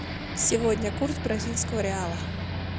сегодня курс бразильского реала